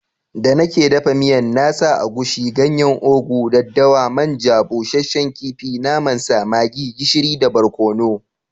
Da nake dafa miyan na sa agushi, ganyen ugu, daddawa, man ja, bushsshen kifi, naman sa, maggi, gishiri da barkonu.